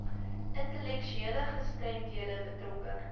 intellektuele gestremdhede betrokke